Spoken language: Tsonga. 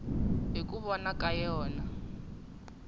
hi ku vona ka yona